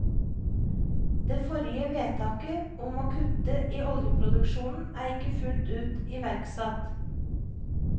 Det forrige vedtaket om å kutte i oljeproduksjonen er ikke fullt ut iverksatt.